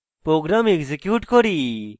program execute করি